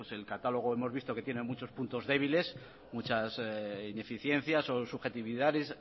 pues el catálogo hemos visto que tiene muchos puntos débiles muchas ineficiencias o subjetividades